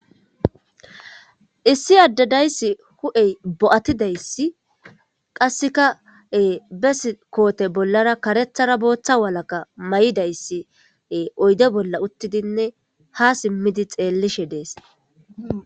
​"Issi addee de'ees; huuphey bo'attidaagaa, qassekka gubbaa kootiya bollaara kareetharanne boothaa walakka may'idaagaa, oyde bolla uttiidi, haa simmidi xeellishshin de'ees.